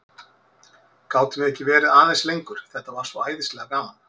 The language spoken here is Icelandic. Gátum við ekki verið aðeins lengur, þetta var svo æðislega gaman?